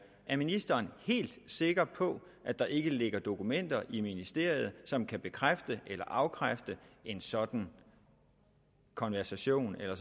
er ministeren helt sikker på at der ikke ligger dokumenter i ministeriet som kan bekræfte eller afkræfte en sådan konversation eller